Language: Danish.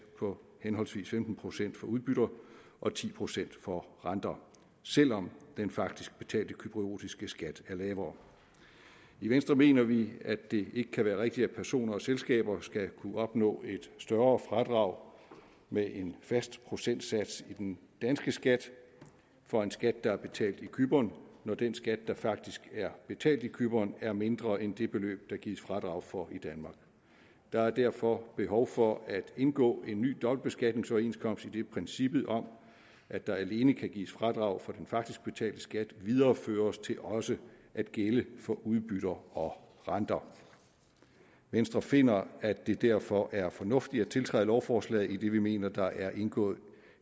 på henholdsvis femten procent for udbytter og ti procent for renter selv om den faktisk betalte cypriotiske skat er lavere i venstre mener vi at det ikke kan være rigtigt at personer og selskaber skal kunne opnå et større fradrag med en fast procentsats i den danske skat for en skat der er betalt i cypern når den skat der faktisk er betalt i cypern er mindre end det beløb der gives fradrag for i danmark der er derfor behov for at indgå en ny dobbeltbeskatningsoverenskomst idet princippet om at der alene kan gives fradrag for den faktisk betalte skat videreføres til også at gælde for udbytter og renter venstre finder at det derfor er fornuftigt at tiltræde lovforslaget idet vi mener at der er indgået